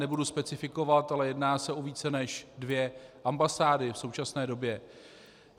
Nebudu specifikovat, ale jedná se o více než dvě ambasády v současné době.